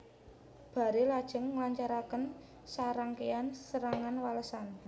Barre lajeng nglancaraken sarangkéyan serangan walesan